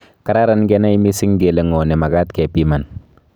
Kararan kenai missing kele ngo nemakat kepiman